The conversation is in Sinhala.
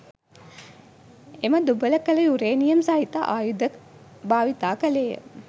එම දුබල කළ යුරේනියම් සහිත ආයුධ භාවිතා කළේය.